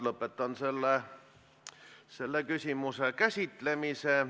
Lõpetan selle küsimuse käsitlemise.